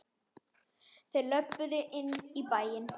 Þeir löbbuðu inn í bæinn.